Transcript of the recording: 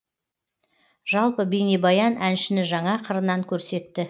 жалпы бейнебаян әншіні жаңа қырынан көрсетті